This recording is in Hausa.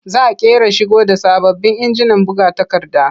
Za ƙera shigo da sababbin injinan buga takarda.